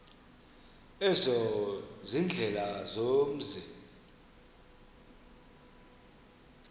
ezo ziindlela zomzi